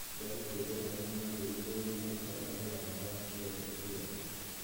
Mbeũ njĩthĩ arĩa maathurirwo nĩmarutaga wĩra wao wa gĩũteti wega